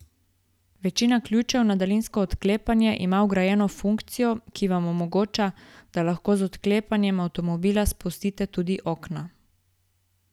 Večina ključev na daljinsko odklepanje ima vgrajeno funkcijo, ki vam omogoča, da lahko z odklepanjem avtomobila spustite tudi okna.